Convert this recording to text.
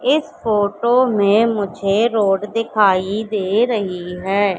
इस फोटो में मुझे रोड दिखाई दे रही है।